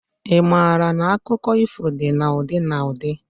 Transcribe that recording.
I maara na akụkọ ifo dị na ụdị na ụdị?